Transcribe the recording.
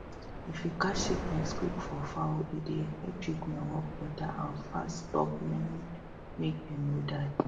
if you catch sickness quick for fowl e dey help treatment work better and fast stop many make dem no die